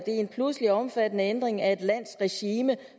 en pludselig omfattende ændring af et lands regime